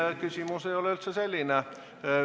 Ei, küsimus ei ole üldse selline.